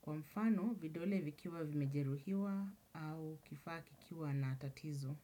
Kwa mfano, vidole vikiwa vimejeruhiwa au kifaa kikiwa na tatizo.